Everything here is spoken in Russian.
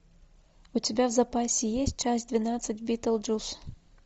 у тебя в запасе есть часть двенадцать битлджус